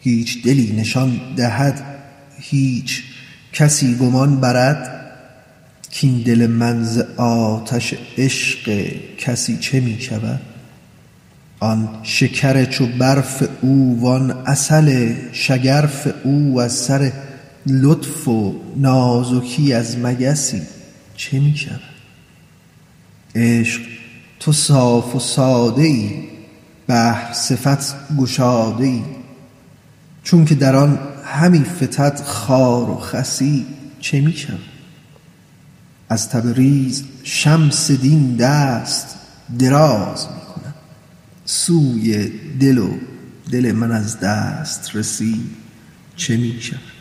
هیچ دلی نشان دهد هیچ کسی گمان برد کاین دل من ز آتش عشق کسی چه می شود آن شکر چو برف او وان عسل شگرف او از سر لطف و نازکی از مگسی چه می شود عشق تو صاف و ساده ای بحر صفت گشاده ای چونک در آن همی فتد خار و خسی چه می شود از تبریز شمس دین دست دراز می کند سوی دل و دل من از دسترسی چه می شود